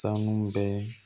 Sanu bɛ